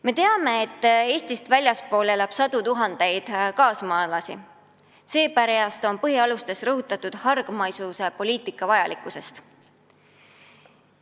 Me teame, et Eestist väljaspool elab sadu tuhandeid meie kaasmaalasi, ja seepärast on põhialustes rõhutatud hargmaisuse poliitika vajalikkust.